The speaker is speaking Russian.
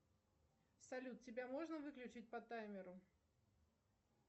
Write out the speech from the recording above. салют тебя можно выключить по таймеру